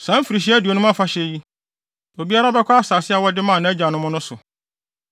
“ ‘Saa mfirihyia aduonum afahyɛ yi, obiara bɛkɔ asase a wɔde maa nʼagyanom no so.